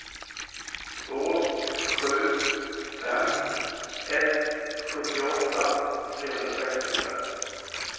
två sju fem ett sjuttioåtta trehundrasextiofem